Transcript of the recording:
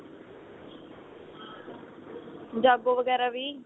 ਜਾਗੋ ਵਗੈਰਾ ਵੀ